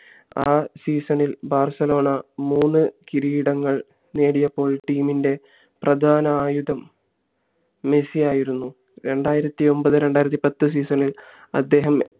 ആ season ഇത് Barcelona മൂന്ന് കിരീടങ്ങൾ നേടിയപ്പോൾ team ഇന്റെ പ്രധാന ആയുധം മെസ്സി ആയിരുന്നു രണ്ടായിരത്തി ഒമ്പത് രണ്ടായിരത്തി പത്തിൽ season ഇത് അദ്ദേഹം